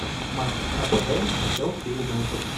матч апл челси юнайтед